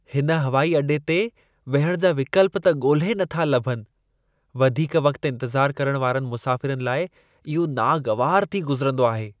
हिन हवाइ अॾे ते विहण जा विकल्प त ॻोल्हे नथा लभनि। वधीक वक़्त इंतज़ार करण वारनि मुसाफ़िरनि लाइ इहो नागवारु थी गुज़िरंदो आहे।